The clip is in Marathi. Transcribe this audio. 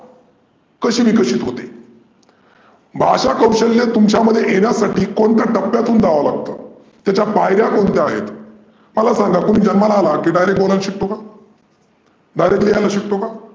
कशी विकसीत होते? भाषा कौशल्य तुमच्यामध्ये येण्यासाठी कोणत्या टप्यातून जावं लागत? त्याच्या पायर्या कोण कोणत्या आहेत? मला सांगा मुल जन्माला अला की direct बोलायला शिकतो का? direct लिहायला शिकतो का?